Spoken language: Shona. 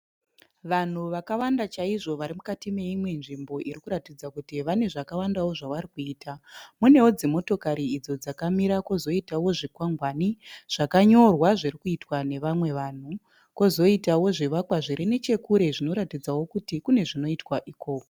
Vanhu vakawanda chaizvo vari mukati meimwe nzvimbo irikuratidza kuti vane zvakawandawo zvavari kuita. Munewo dzimotokari idzo dzakamira kozoitawo zvikwangwani zvakanyorwa zviri kuitwa nevamwe vanhu, kozoitawo zvivakwa zviri nechekure zvinoratidzawo kuti kune zvinoitwa ikoko.